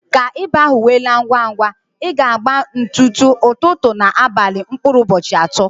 Ka ịba ahụ we laa ngwa ngwa, ị ga agba ntutu, ụtụtụ ná abalị mkpụrụ ụbọchị atọ